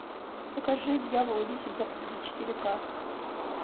покажи дьявол десять заповедей четыре ка